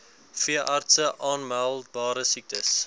veeartse aanmeldbare siektes